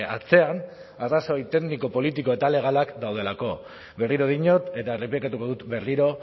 atzean arrazoi tekniko politiko eta legalak daudelako berriro diot eta errepikatuko dut berriro